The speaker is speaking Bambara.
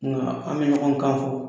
Nka an bɛ ɲɔn kan fɔ.